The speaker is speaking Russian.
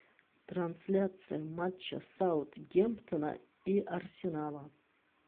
трансляция матча саутгемптона и арсенала